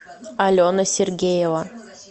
алена сергеева